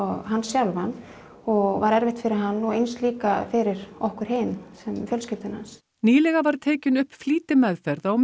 hann sjálfan og var erfitt fyrir hann og eins líka fyrir okkur hin fjölskyldu hans nýlega var tekin upp flýtimeðferð á